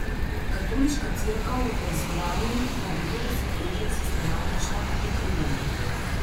Katoliška cerkev v Pensilvaniji naj bi to desetletja sistematično prikrivala.